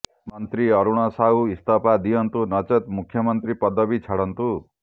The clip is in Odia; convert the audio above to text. ମନ୍ତ୍ରୀ ଅରୁଣ ସାହୁ ଇସ୍ତଫା ଦିଅନ୍ତୁ ନଚେତ୍ ମୁଖ୍ୟମନ୍ତ୍ରୀ ପଦବୀ ଛାଡ଼ନ୍ତୁ